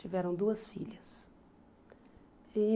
Tiveram duas filhas e.